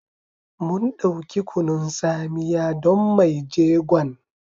Mun dauki Kunun tsamiya don mai jegon.